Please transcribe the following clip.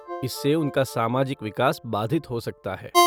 इससे उनका सामाजिक विकास बाधित हो सकता है।